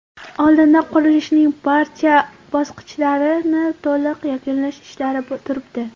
Oldinda qurilishning barcha bosqichlarini to‘liq yakunlash ishlari turibdi.